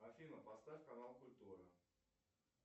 афина поставь канал культура